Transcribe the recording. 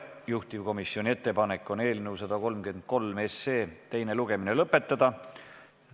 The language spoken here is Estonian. Juhtivkomisjoni ettepanek on eelnõu 133 teine lugemine lõpetada.